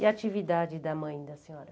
E a atividade da mãe da senhora?